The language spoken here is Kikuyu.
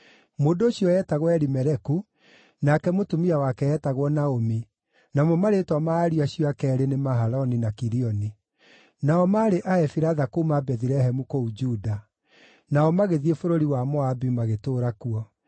Mũndũ ũcio eetagwo Elimeleku, nake mũtumia wake eetagwo Naomi, namo marĩĩtwa ma ariũ acio ake eerĩ nĩ Mahaloni na Kilioni. Nao maarĩ Aefiratha kuuma Bethilehemu kũu Juda. Nao magĩthiĩ bũrũri wa Moabi magĩtũũra kuo.